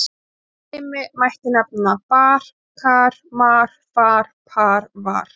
Sem dæmi mætti nefna: bar-kar, mar-far, par-var.